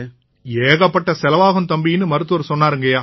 ஏகப்பட்ட செலவாகும் தம்பின்னு மருத்துவர் சொன்னாருங்கய்யா